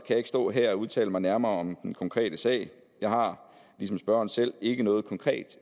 jeg ikke stå her og udtale mig nærmere om den konkrete sag jeg har ligesom spørgeren selv ikke noget konkret